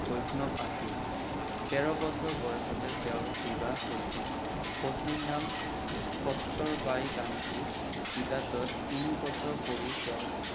বৈঞ্চৱ আছিল ।তেৰ বছৰ বয়সতে তেওৰ বিবাহ হৈছিল, পত্নিৰ নাম কষ্টৰবাই গান্ধী, বিলাতত তিনি বছৰ পঢ়ি তেও